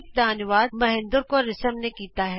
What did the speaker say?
ਇਸ ਸਕਰਿਪਟ ਦਾ ਅਨੁਵਾਦ ਮਹਿੰਦਰ ਕੌਰ ਰਿਸ਼ਮ ਨੇ ਕੀਤਾ ਹੈ